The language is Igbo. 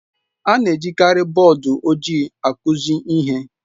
A na-ejikarị bọọdụ ojii akụzi ihe.